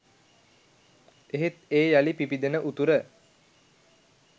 එහෙත් ඒ යළි පිබිදෙන උතුර